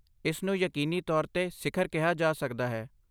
ਇਸ ਨੂੰ ਯਕੀਨੀ ਤੌਰ 'ਤੇ ਸਿਖਰ ਕਿਹਾ ਜਾ ਸਕਦਾ ਹੈ।